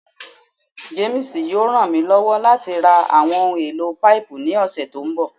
James yoo ran mi lọwọ lati ra awọn ohun elo paipu ni ọsẹ to nbọ